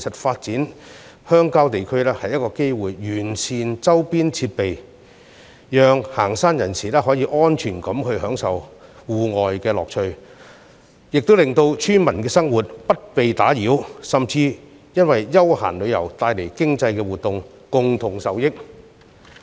發展鄉郊地區其實也是完善周邊設施的機會，既可讓遠足人士安全地享受戶外樂趣，也可令村民生活不受騷擾，甚至因休閒旅遊帶來的經濟活動而共同受益。